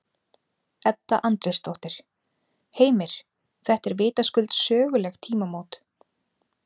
Edda Andrésdóttir: Heimir, þetta eru vitaskuld söguleg tímamót?